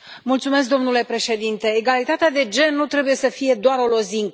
Domnule președinte, egalitatea de gen nu trebuie să fie doar o lozincă.